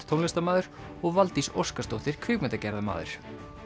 tónlistarmaður og Valdís Óskarsdóttir kvikmyndagerðarmaður